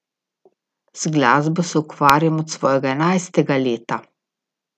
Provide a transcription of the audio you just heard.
Z glasbo se ukvarjam od svojega enajstega leta.